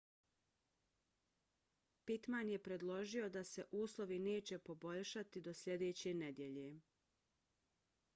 pittman je predložio da se uslovi neće poboljšati do sljedeće nedjelje